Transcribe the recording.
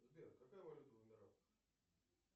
сбер какая валюта в эмиратах